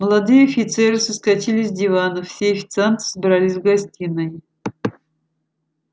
молодые офицеры соскочили с диванов все официанты собрались в гостиной